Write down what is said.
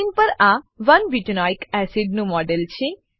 screen પર આ 1 butanoic acid નું મોડેલ છે